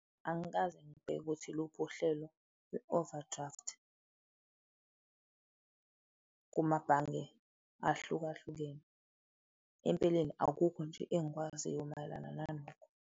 Angikaze ngibheke ukuthi iluphi uhlelo lwe-overdraft kumabhange ahlukahlukene. Empeleni, akukho nje engikwaziyo mayelana nalokho.